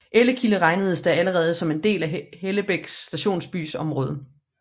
Ellekilde regnedes da allerede som en del af Hellebæk stationsbys område